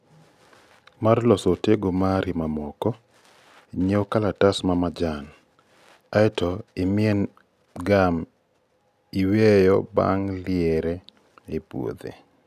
Mar loso otego mari mamoko, nyiew kalatas ma majan, aeto imien gum iwiyo bange liere ie puothi